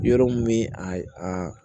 Yɔrɔ min bɛ a a